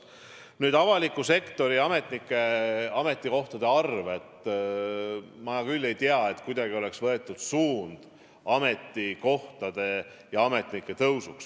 Mis puutub avaliku sektori ametnike ametikohtade arvu, siis ma küll ei tea, et oleks võetud suund ametikohtade ja ametnike arvu suurendamiseks.